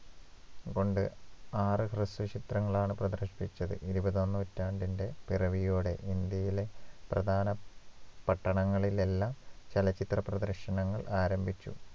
കൊണ്ട് ആറ് ഹ്രസ്വ ചിത്രങ്ങളാണ് പ്രദർശിപ്പിച്ചത് ഇരുപതാം നൂറ്റാണ്ടിന്റെ പിറവിയോടെ ഇന്ത്യയിലെ പ്രധാന പട്ടണങ്ങളിലെല്ലാം ചലച്ചിത്ര പ്രദർശനങ്ങൾ ആരംഭിച്ചു